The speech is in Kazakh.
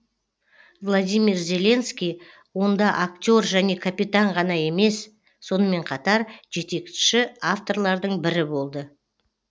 владимир зеленский онда актер және капитан ғана емес сонымен қатар жетекші авторлардың бірі болды